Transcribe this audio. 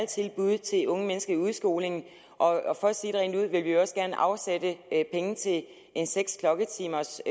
tilbud til unge mennesker i udskolingen og for at sige det rent ud vil vi også gerne afsætte penge til en seks klokketimers